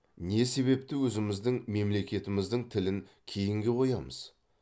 не себепті өзіміздің мемлекетіміздің тілін кейінге қоямыз